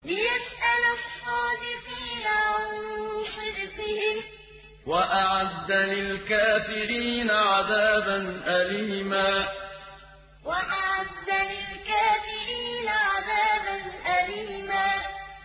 لِّيَسْأَلَ الصَّادِقِينَ عَن صِدْقِهِمْ ۚ وَأَعَدَّ لِلْكَافِرِينَ عَذَابًا أَلِيمًا لِّيَسْأَلَ الصَّادِقِينَ عَن صِدْقِهِمْ ۚ وَأَعَدَّ لِلْكَافِرِينَ عَذَابًا أَلِيمًا